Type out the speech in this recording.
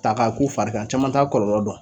Ta k'a k'u fari kan caman t'a kɔlɔlɔ dɔn.